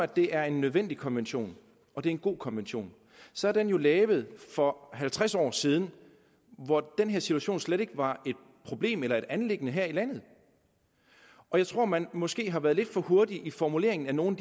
det er en nødvendig konvention og en god konvention så er den jo lavet for halvtreds år siden hvor den her situation slet ikke var et problem eller et anliggende her i landet og jeg tror man måske har været lidt for hurtig i formuleringen af nogle